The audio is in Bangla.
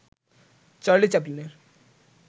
চার্লি চ্যাপলিনের